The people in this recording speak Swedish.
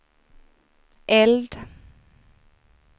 eld